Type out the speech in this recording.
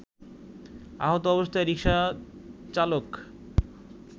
আহত অবস্থায় রিকসাচালক